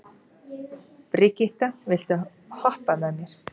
Brigitta, viltu hoppa með mér?